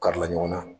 Kari la ɲɔgɔn na